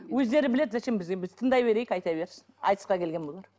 өздері біледі зачем бізге біз тыңдай берейік айта берсін айтысқа келген болар